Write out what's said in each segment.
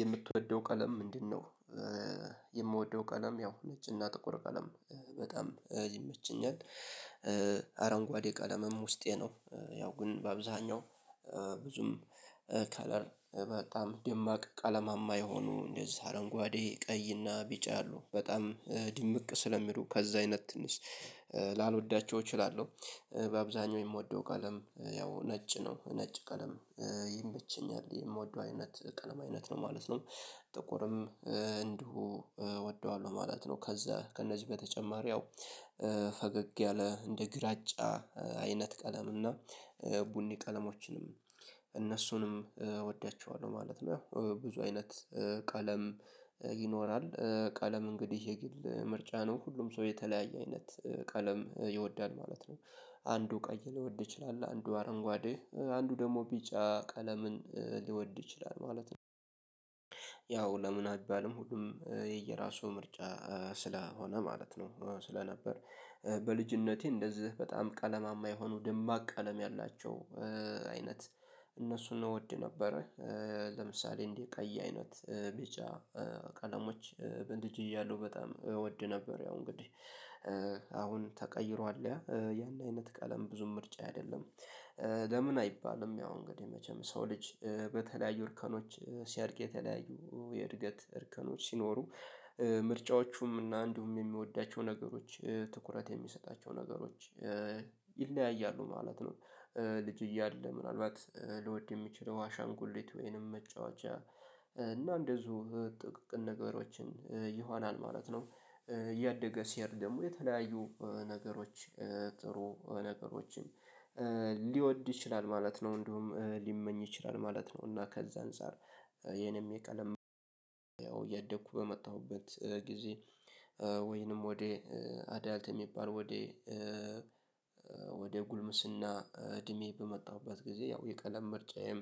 የምትወደው ቀለም ምንድንነው? የምወደው ቀለም ያው ነጭ እና ጥቁር ቀለም በጣም ይመቸኛል አረንጓዴ ቀለምም ውስጤ ነው። ያው ግን በአብዛኛው ብዙም ከለር በጣም ደማቅ ቀለማማ የሆኑ እንደዚህ አረንጓዴ ቀይ እና ቢጫ አሉ በጣም ድምቅ ስለሚሉ ከዛ አይነት ትንሽ ላልወዳቸው እችላለሁ። በአብዛኛው የምወደው ቀለም ያው ነጭ ነው ነጭ ቀለም ይመቸኛል የምወደው አይነት ቀለም አይነት ነው ማለት ነው። ጥቁርም እንዲሁ እወደዋለሁ ማለት ነው። ከዛ ከእነዚህ በተጨማሪ ያው ፈገግ ያለ እንደ ግራጫ አይነት ቀለም እና ቡኒ ቀለሞችንም እነሱንም እወዳቸዋለሁ ማለት ነው። ብዙ አይነት ቀለም ይኖራል ቀለም እንግዲህ የግል ምርጫ ነው። ሁሉም ሰው የተለያየ አይነት ቀለም ይወዳል ማለት ነው። አንዱ ቀይ ሊወድ ይችላል አንዱ አረንጓዴ አንዱ ደግሞ ቢጫ ቀለምን ሊወድ ይችላል ማለት ነው። ያው ለምን አይባልም ሁሉም የየራሱ ምርጫ ስለሆነ ማለት ነው። ስለነበር በልጅነቴ እንደዚህ በጣም ቀለማማ የሆኑ ደማቅ ቀለም ያላቸው አይነት እነሱን እወድ ነበረ። ለምሳሌ እንዲህ ቀይ አይነት ቢጫ ቀለሞች በልጅ እያለሁ በጣም እወድ ነበር። ያው እንግዲህ አሁን ተቀይሯል ያ ያን አይነት ቀለም ብዙም ምርጫዬ አይደለም። ለምን አይባልም ያው እንግዲህ መቼም ሰው ልጅ በተለያዩ እርከኖች ሲያድግ የተለያዩ የእድገት እርከኖች ሲኖሩ ምርጫዎቹም እና አንዲሁም የሚወዳቸው ነገሮች ትኩረት የሚሰጣቸው ነገሮች ይለያያሉ ማለት ነው። ልጅ እያለ ምናልባት ሊወድ የሚችለው አሻንጉሊት ወይንም መጫወቻ እና እንደዚሁ ጥቃቅን ነገሮችን ይሆናል ማለት ነው። እያደገ ሲሄድ ደግሞ የተለያዩ ነገሮች ጥሩ ነገሮችን ሊወድ ይችላል ማለት ነው። እንዲሁም ሊመኝ ይችላል ማለት ነው። እና ከዛ አንፃር የኔም የቀለም ያው እያደኩ በመጣሁበት ጊዜ ወይንም ወደ አዳልት የሚባል ወደ ወደ ጉልምስና እድሜ በመጣሁበት ጊዜ ያው የቀለም ምርጫዬም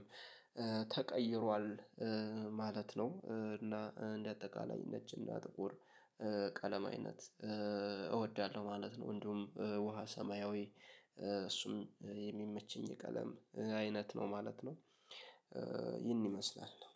ተቀይሯል። ማለት ነው እና እንደ አጠቃላይ ነጭ እና ጥቁር ቀለም አይነት እወዳለሁ ማለት ነው። እንዲሁም ውሃ ሰማያዊ እሱም የሚመችኝ የቀለም አይነት ነው ማለት ነው። ይህን ይመስላል